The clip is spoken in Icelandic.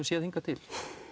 séð hingað til